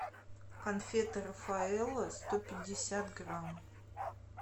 конфеты рафаэлло сто пятьдесят грамм